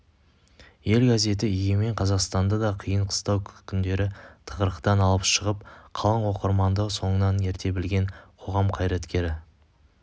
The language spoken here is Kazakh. ел газеті егемен қазақстанды да қиын қыстау күндері тығырықтан алып шығып қалың оқырманды соңынан ерте білген қоғам қайраткері